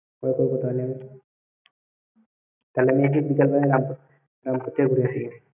তাহলে আমি আজকে বিকেল বেলা রামপুর~ রামপুর থেকে ঘুরে আসি।